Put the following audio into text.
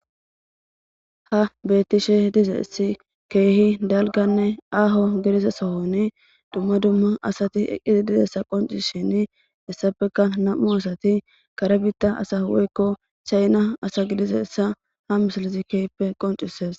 ha beettishe dizessi keehi dalganne aaho gidida sohoni dumma dumma asati eqqisi dizessa qonci shini issafeka nam7u asati karebitta asa woykko chayna asa gidise issa ha misalozi keyppe qoncises